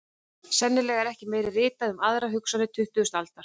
Sennilega er ekki meira ritað um aðra hugsuði tuttugustu aldar.